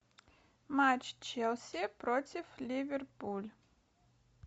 матч челси против ливерпуль